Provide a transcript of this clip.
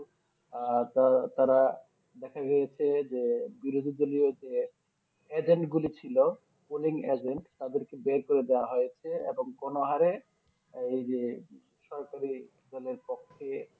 আহ তা তারা দেখা গিয়েছে যে বিরোধী দলীয় যে Agent গুলি ছিল Polling Agent তাদেরকে বের করে দেওয়া হয়েছে এবং কোনো হারে এই যে সরকারি দলের পক্ষে